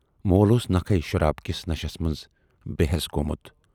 مول اوس نکھٕے شراب کِس نشس منز بے حٮ۪س گومُت۔